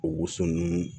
O woso nun